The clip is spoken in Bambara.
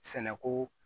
Sɛnɛko